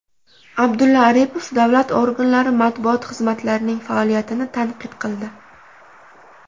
Abdulla Aripov davlat organlari matbuot xizmatlarining faoliyatini tanqid qildi.